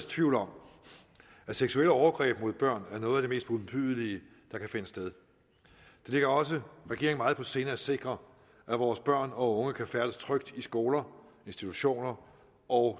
tvivl om at seksuelle overgreb mod børn er noget af det mest modbydelige der kan finde sted det ligger også regeringen meget på sinde at sikre at vores børn og unge kan færdes trygt i skoler institutioner og